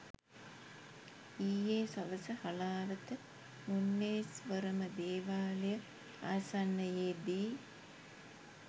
ඊයේ සවස හලාවත මුන්නේෂ්වරම දේවාලය ආසන්නයේදී